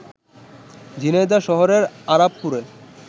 ঝিনাইদহ শহরের আরাপপুরে